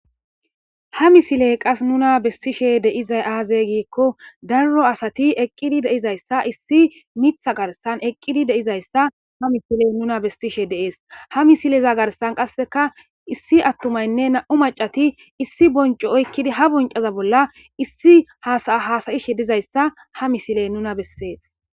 ha misiley qas nuna bestishe deizay aaze giikko darro asati eqqidi deizayssa issi mitha garsan eqqidi deizayssa ha mifiley nuna bestishe deees ha misileza garsan qasseka issi attumaynne na7u macati issi boncu oykkidi ha boncaza bolla issi hasayishe dizayssa ha misiley nuna bessees